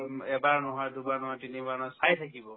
উম, এবাৰ নহয় দুবাৰ নহয় তিনিবাৰ নহয় চায়ে থাকিব